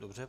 Dobře.